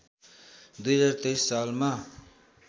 २०२३ सालमा